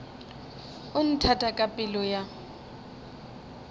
o nthata ka pelo ya